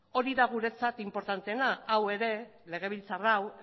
hori da guretzat inportanteena hau ere legebiltzar hau